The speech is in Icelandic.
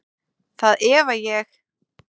Það efa ég.